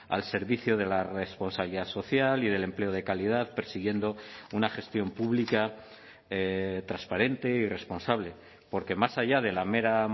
al servicio de la responsabilidad social y del empleo de calidad persiguiendo una gestión pública transparente y responsable porque más allá de la mera